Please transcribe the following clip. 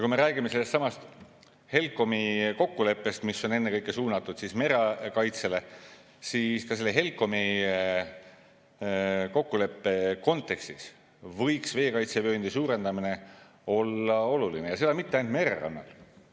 Kui me räägime sellestsamast HELCOM‑i kokkuleppest, mis on ennekõike suunatud merekaitsele, siis ka selle HELCOM-i kokkuleppe kontekstis võiks veekaitsevööndi suurendamine olla oluline, ja seda mitte ainult mererannal.